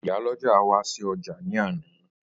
Ìyálọ́jà wá sí ọjà ní àná